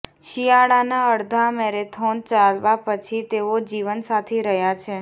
શિયાળાના અડધા મેરેથોન ચાલવા પછી તેઓ જીવનસાથી રહ્યા છે